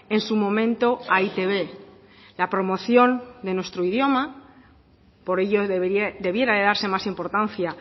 en su momento a e i te be la promoción de nuestro idioma por ello debiera de darse más importancia